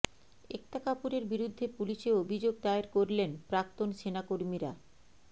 একতা কাপুরের বিরুদ্ধে পুলিশে অভিযোগ দায়ের করলেন প্রাক্তন সেনাকর্মীরা